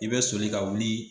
I bɛ soli ka wuli.